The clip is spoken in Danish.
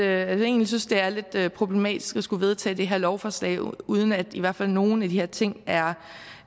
jeg egentlig synes det er lidt problematisk at skulle vedtage det her lovforslag uden at i hvert fald nogle af de her ting er